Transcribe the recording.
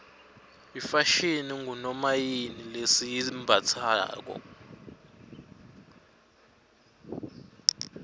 ifashini ngunomayini lesiyimbatsalo